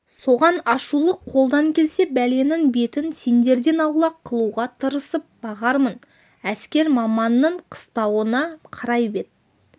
соған ашулы қолдан келсе бәленің бетін сендерден аулақ қылуға тырысып бағармын әскер маманның қыстауына қарай бет